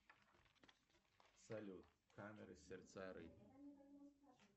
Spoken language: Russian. салют камеры сердца рыб